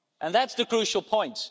That's the crucial point.